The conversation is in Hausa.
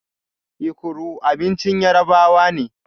Ekuru abincin Yarabawa ne